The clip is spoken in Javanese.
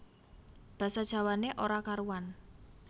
Basa Jawané ora karuwan